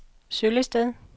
Søllested